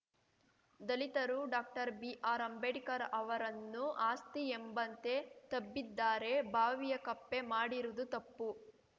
ದಲಿತರು ಡಾಕ್ಟರ್ಬಿಆರ್‌ಅಂಬೇಡ್ಕರ್‌ ಅವರನ್ನು ಆಸ್ತಿ ಎಂಬಂತೆ ತಬ್ಬಿದ್ದಾರೆ ಬಾವಿಯ ಕಪ್ಪೆ ಮಾಡಿರುವುದು ತಪ್ಪು